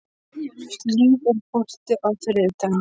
Hlíf, er bolti á þriðjudaginn?